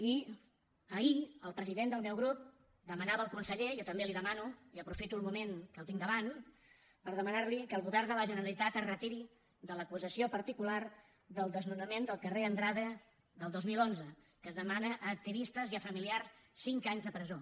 i ahir el president del meu grup demanava al conseller jo també li ho demano i aprofito el moment que el tinc davant per demanar li ho que el govern de la generalitat es retiri de l’acusació particular del desnonament del carrer andrade del dos mil onze que es demana a activistes i a familiars cinc anys de presó